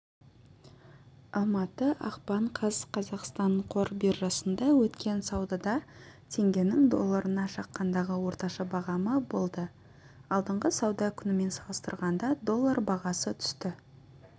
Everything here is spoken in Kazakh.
ілматы ақпан қаз қазақстан қор биржасында өткен саудада теңгенің долларына шаққандағы орташа бағамы болды алдыңғы сауда күнімен салыстырғанда доллар бағасы түсті